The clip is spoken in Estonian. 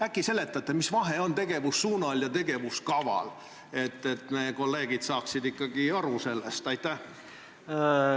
Äkki seletate, mis vahe on tegevussuunal ja tegevuskaval, et meie kolleegid saaksid ikkagi sellest aru?